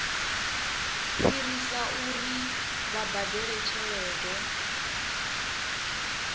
fhirisa uri vha badele tshelede